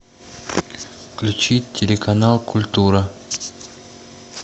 включи телеканал культура